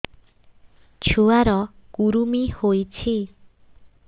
ଛୁଆ ର କୁରୁମି ହୋଇଛି